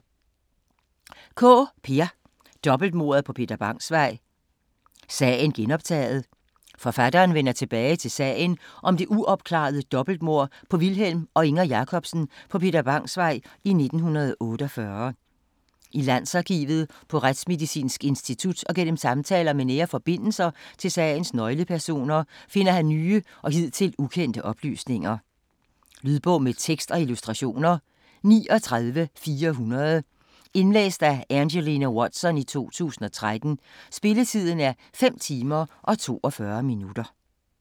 Kaae, Peer: Dobbeltmordet på Peter Bangs Vej: sagen genoptaget Forfatteren vender tilbage til sagen om det uopklarede dobbeltmord på Vilhelm og Inger Jacobsen på Peter Bangs Vej i 1948. I Landsarkivet, på Retsmedicinsk Institut og gennem samtaler med nære forbindelser til sagens nøglepersoner finder han nye og hidtil ukendte oplysninger. Lydbog med tekst og illustrationer 39400 Indlæst af Angelina Watson, 2013. Spilletid: 5 timer, 42 minutter.